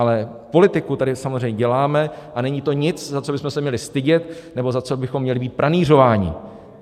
Ale politiku tady samozřejmě děláme a není to nic, za co bychom se měli stydět nebo za co bychom měli být pranýřováni.